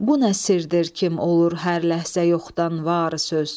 Bu nə sirdir, kim olur hər ləhzə yoxdan var söz.